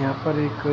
यहा पर एक अ